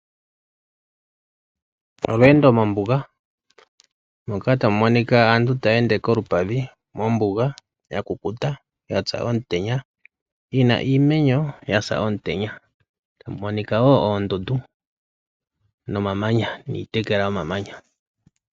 Olweendo mombuga, moka ta mu monika aantu taya ende kolupadhi mombuga ya kukuta, yasa omutenya, yina iimeno yasa omutenya, ta mumonika woo oondundu, no mamanya, niitekela yomamanya.